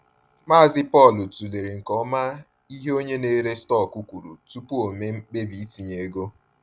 Mazị Paul tụlere nke ọma ihe onye na-ere stọkụ kwuru tupu o mee mkpebi itinye ego.